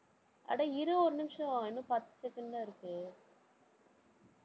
அட இரு ஒரு நிமிஷம், இன்னும் பத்து second தான் இருக்கு.